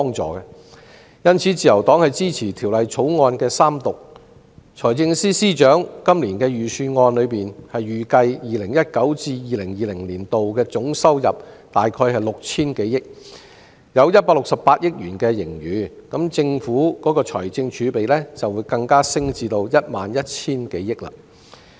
在今年的財政預算案中，財政司司長預算 2019-2020 年度總收入約為 6,000 多億元，有168億元盈餘，政府的財政儲備更會升至 11,000 多億元。